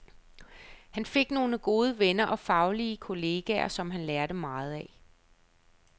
Han fik nogle gode venner og faglige kolleger, som han lærte meget af.